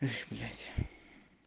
эх блять